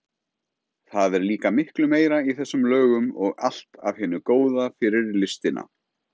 Það er líka miklu meira í þessum lögum og allt af hinu góða fyrir listina.